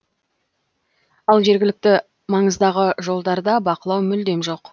ал жергілікті маңыздағы жолдарда бақылау мүлдем жоқ